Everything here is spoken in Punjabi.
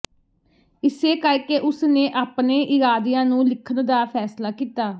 ਇਸੇ ਕਰਕੇ ਉਸਨੇ ਆਪਣੇ ਇਰਾਦਿਆਂ ਨੂੰ ਲਿਖਣ ਦਾ ਫੈਸਲਾ ਕੀਤਾ